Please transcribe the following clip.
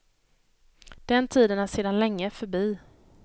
Den tiden är sedan länge förbi.